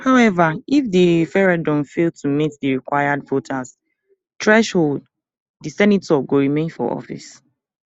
however if di referendum fail to meet di required voter threshold di senator go remain for office